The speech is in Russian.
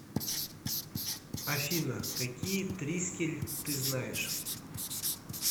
афина какие трискель ты знаешь